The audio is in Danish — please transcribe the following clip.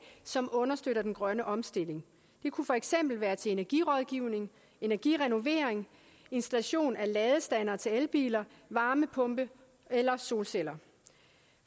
som understøtter den grønne omstilling det kunne for eksempel være til energirådgivning energirenovering installation af ladestander til elbiler varmepumpe eller solceller